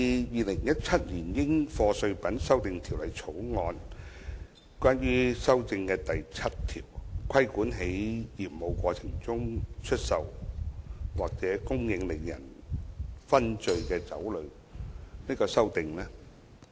《2017年應課稅品條例草案》第7條的擬議修訂旨在規管在業務過程中出售或供應令人醺醉的酒類。